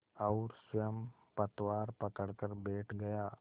और स्वयं पतवार पकड़कर बैठ गया